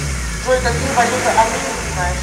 джой какие валюта армении ты знаешь